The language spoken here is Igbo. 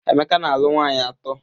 Emeka na-alụ nwaanyị atọ.